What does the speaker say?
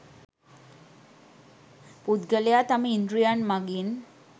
පුද්ගලයා තම ඉන්ද්‍රියයන් මගින්